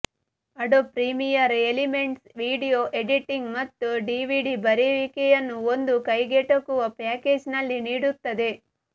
adobe Premiere Elements video editing ಮತ್ತು DVD ಬರೆಯುವಿಕೆಯನ್ನು ಒಂದು ಕೈಗೆಟುಕುವ ಪ್ಯಾಕೇಜ್ನಲ್ಲಿ ನೀಡುತ್ತದೆ